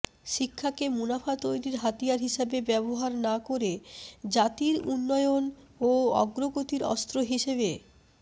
শিক্ষাকে মুনাফা তৈরির হাতিয়ার হিসেবে ব্যবহার না করে জাতির উন্নয়ন ও অগ্রগতির অস্ত্র হিসেবে